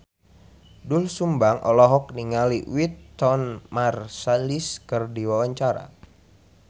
Doel Sumbang olohok ningali Wynton Marsalis keur diwawancara